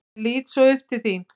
Ég lít svo upp til þín.